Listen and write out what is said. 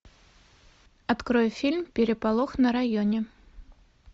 открой фильм переполох на районе